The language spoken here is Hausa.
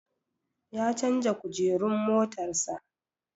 Ya canja Kujerun motar sa